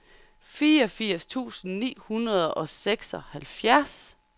fireogfirs tusind ni hundrede og seksoghalvfjerds